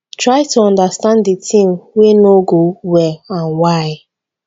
try to understans di thing wey no go well and why